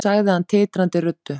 sagði hann titrandi röddu.